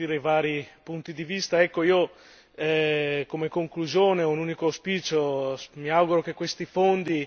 mi ha fatto piacere sentire i vari punti di vista. Io come conclusione ho un unico auspicio mi auguro che questi fondi,